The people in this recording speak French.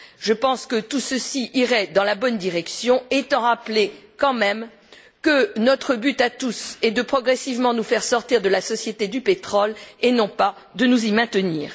Je pense que tout ceci irait dans la bonne direction, tout en rappelant quand même que notre but à tous est de progressivement nous faire sortir de la société du pétrole et non pas de nous y maintenir.